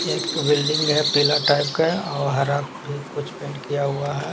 एक बिल्डिंग है पीला टाइप का और हरा भी कुछ पेंट किया हुआ है।